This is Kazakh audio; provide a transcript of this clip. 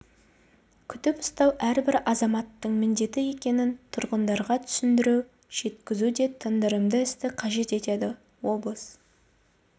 күтіп ұстау әрбір азаматтың міндеті екенін тұрғындарға түсіндіру жеткізу де тындырымды істі қажет етеді облыс